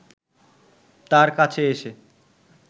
তার কাছে এসে